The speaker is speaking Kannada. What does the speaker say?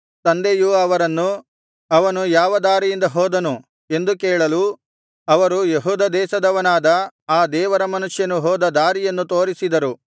ತಂದೆಯು ಅವರನ್ನು ಅವನು ಯಾವ ದಾರಿಯಿಂದ ಹೋದನು ಎಂದು ಕೇಳಲು ಅವರು ಯೆಹೂದ ದೇಶದವನಾದ ಆ ದೇವರ ಮನುಷ್ಯನು ಹೋದ ದಾರಿಯನ್ನು ತೋರಿಸಿದರು